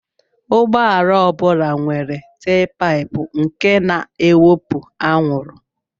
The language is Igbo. Ụgbọala ọ bụla nwere telpaịpụ nke na-ewepụ anwụrụ.